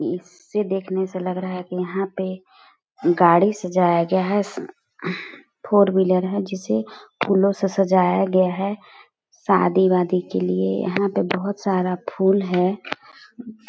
इससे देखने से लग रहा है कि यहाँ पे गाड़ी सजाया गया है फोर व्हीलर है जिसे फूलों से सजाया गया है शादी-वादी के लिए यहाँ पे बहुत सारा फूल है।